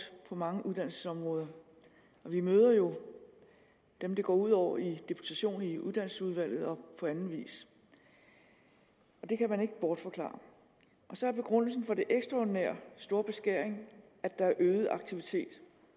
på mange uddannelsesområder og vi møder jo dem det går ud over i deputation i uddannelsesudvalget og på anden vis og det kan man ikke bortforklare og så er begrundelsen for den ekstraordinære store beskæring at der er øget aktivitet